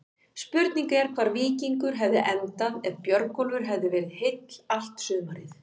Spurning er hvar Víkingur hefði endað ef Björgólfur hefði verið heill allt sumarið?